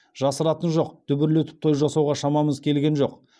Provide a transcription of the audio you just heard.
жасыратыны жоқ дүбірлетіп той жасауға шамамыз келген жоқ